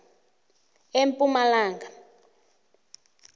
epumalanga